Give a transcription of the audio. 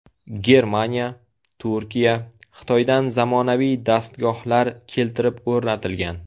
Germaniya, Turkiya, Xitoydan zamonaviy dastgohlar keltirib o‘rnatilgan.